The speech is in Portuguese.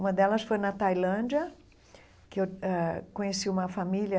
Uma delas foi na Tailândia, que eu ãh conheci uma família